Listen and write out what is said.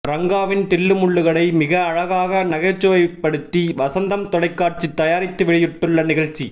ரங்காவின் தில்லுமுல்லுகளை மிக அழகாக நகைச்சுவைப்படுத்தி வசந்தம் தொலைகாட்சி தயாரித்து வெளியிட்டுள்ள நிகழ்ச்சி